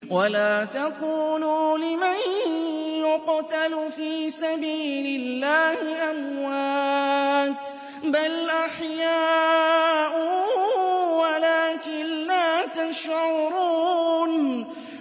وَلَا تَقُولُوا لِمَن يُقْتَلُ فِي سَبِيلِ اللَّهِ أَمْوَاتٌ ۚ بَلْ أَحْيَاءٌ وَلَٰكِن لَّا تَشْعُرُونَ